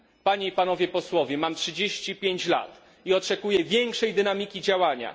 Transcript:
Panie i panowie posłowie, mam 35 lat i oczekuję większej dynamiki działania.